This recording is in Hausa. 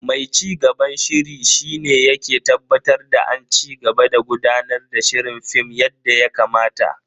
Mai cigaban shiri shi ne yake tabbatar da an cigaba da gudanar da shirin Film yadda ya kamata.